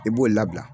I b'o labila